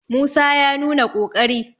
musa ya nuna ƙoƙari!